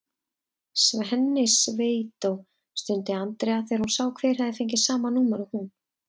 Svenni sveitó! stundi Andrea þegar hún sá hver hafði fengið sama númer og hún.